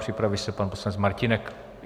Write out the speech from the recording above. Připraví se pan poslanec Martínek.